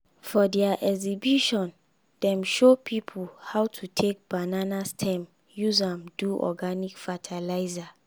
for their exhibition dem show people how to take banana stem use am do organic fertilizer